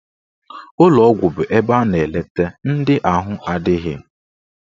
Ụlọgwụ bụ ebe a na-eleta ndị ahụ adịghị.